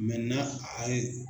a ye